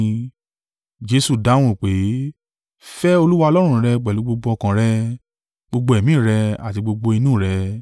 Jesu dáhùn pé, “ ‘Fẹ́ Olúwa Ọlọ́run rẹ pẹ̀lú gbogbo ọkàn rẹ, gbogbo ẹ̀mí rẹ àti gbogbo inú rẹ.’